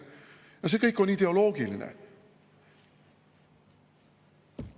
Ja see kõik on ideoloogiline.